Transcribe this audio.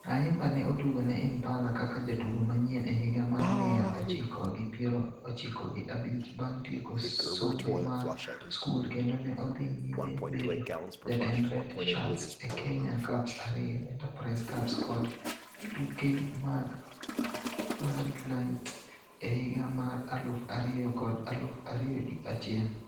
Ayimba ne otugo ne Impala kaka jatugo manyien e higa mar miya ochiko gi piero ochiko gi abich bang' tieko sombe mar skul kendo ne odhi nyime bedo jatend Red Shirts e Kenya Cups ariyo, Enterprise Cups kod tuke mag Floodlit e higa mar aluf ariyo kod aluf ariyo gi achiel.